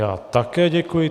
Já také děkuji.